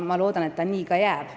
Ma loodan, et see nii ka jääb.